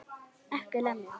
EKKI LEMJA!